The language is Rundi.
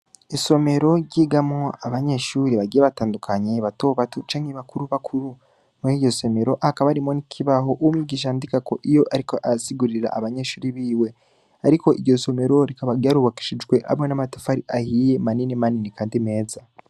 Isomero ryigamwo abanyeshure bagiye batandukanye Batobato canke bakuru bakuru, muriryo somero hakaba harimwo n'ikibaho Umwigisha yandikako iyo ariko arasigurira abanyeshure biwe, Ariko iryo somero, rikaba ryarubakishijwe hamwe namatafari maniniya manini kandi meza.